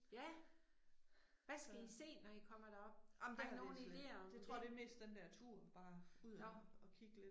Ja. Hvad skal I se når I kommer derop? Har I nogen ideer om det? Nåh